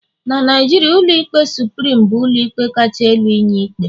na Naijiria, ụlọikpe supirim bu ụlọikpe kacha elu inye ikpe